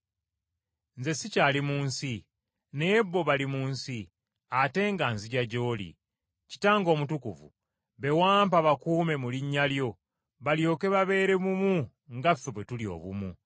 Nze sikyali mu nsi, naye bo bali mu nsi, ate nga nzija gy’oli. Kitange Omutukuvu, be wampa bakuume mu linnya lyo, balyoke babeere bumu nga ffe bwe tuli obumu.